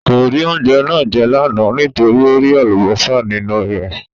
Kò rí oúnjẹ náà jẹ́ lánàá nítorí ó rí Àlùbọ́sà nínú ẹ̀